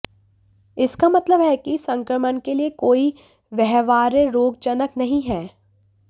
इसका मतलब है कि संक्रमण के लिए कोई व्यवहार्य रोगजनक नहीं हैं